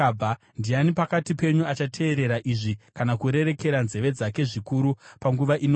Ndiani pakati penyu achateerera izvi, kana kurerekera nzeve dzake zvikuru panguva inouya?